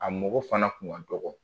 A mɔgɔ fana kun ka dɔgɔ.